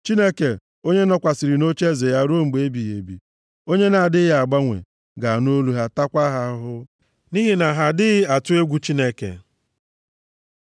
Chineke, onye nọkwasịrị nʼocheeze ya ruo mgbe ebighị ebi, onye na-adịghị agbanwe, ga-anụ olu ha, taakwa ha ahụhụ, nʼihi na ha adịghị atụ egwu Chineke. Sela